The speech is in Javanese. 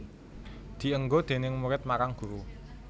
Dienggo déning murid marang guru